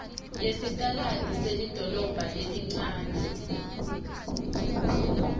yesitaladi selidolobha lelincane